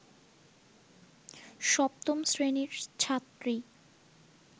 সপ্তম শ্রেণীর ছাত্রী